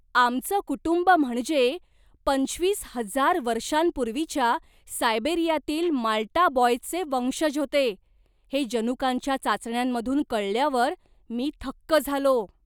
आमचं कुटुंब म्हणजे, पंचवीस हजार वर्षांपूर्वीच्या सायबेरियातील माल्टा बॉयचे वंशज होते, हे जनुकांच्या चाचण्यांमधून कळल्यावर मी थक्क झालो.